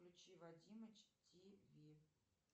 включи вадимыч тв